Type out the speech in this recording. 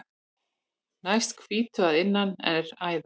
Næst hvítu að innan er æða.